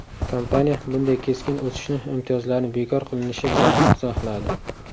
Kompaniya bunday keskin o‘sishni imtiyozlarni bekor qilinishi bilan izohladi.